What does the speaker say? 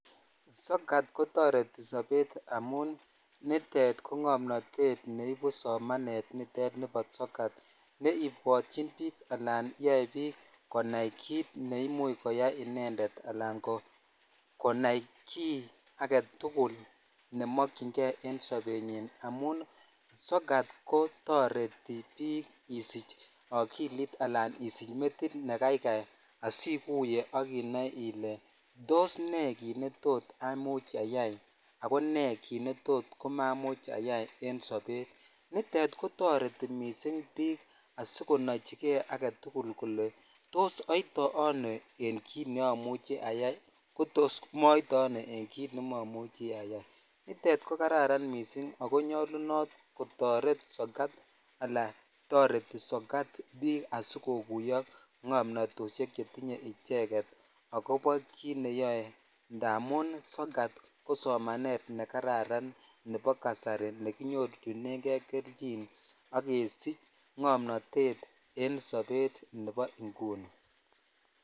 sokat kotoreti sobet amun nitet ko ng'omnotet neibu somanet nitet nebo sokat neibwotyin biik alaan yoe biik konai kiit neimuch koyai inendet anan konai kii aketukul nemokying'e en sobenyin amun sokat kotoreti biik isich okilit alan isich metit nekaikai asikuiye ak inoe ilee toos nee kiit netot amuch ayai ak ko nee kiit netot komamuch ayai en sobet, nitet kotoreti mising biik asikonochike aketukul kolee toos oite anoo en kiit neomuche ayai kotos moite ano en kiit nemomuche ayai, nitet ko kararn misingak ko nyolunot kotoret sokat alaa toreti sokat asikokuyo ng'omnotoshek icheket akobo kiit neyoe ndamun sokat ko somanet nekararan nebo kasari nekinyorchinenge kelchin ak kesich ngomnotet en sobet nebo inguni.